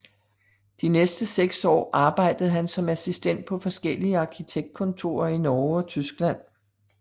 De næste seks år arbejdede han som assistent på forskellige arkitektkontorer i Norge og Tyskland